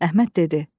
Əhməd dedi: